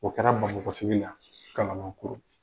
O kɛra Bamakɔ sigi la Kalaban - coro.